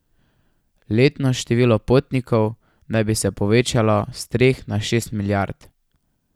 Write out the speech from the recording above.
Letno število potnikov naj bi se povečalo s treh na šest milijard.